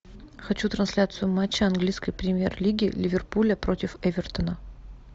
хочу трансляцию матча английской премьер лиги ливерпуля против эвертона